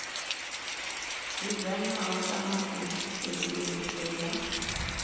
dzudzanywaho kana u tsedzuluso dza